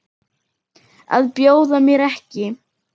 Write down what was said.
Að bjóða mér ekki.